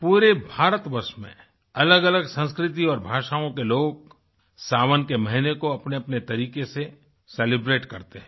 पूरे भारतवर्ष में अलगअलग संस्कृति और भाषाओं के लोग सावन के महीने को अपनेअपने तरीके से सेलिब्रेट करते हैं